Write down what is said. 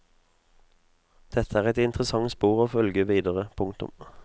Dette er et interessant spor å følge videre. punktum